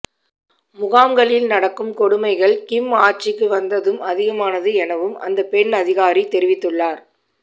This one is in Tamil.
முகாம்களில் நடக்கும் கொடுமைகள் கிம் ஆட்சிக்கு வந்ததும் அதிகமானது எனவும் அந்த பெண் அதிகாரி தெரிவித்துள்ளார்